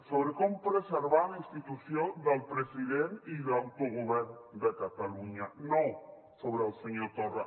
sobre com preservar la institució del president i de l’autogovern de catalunya no sobre el senyor torra